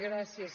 gràcies